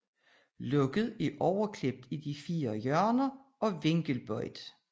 Låget er overklippet i de fire hjørner og vinkelbøjet